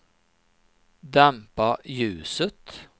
dämpa ljuset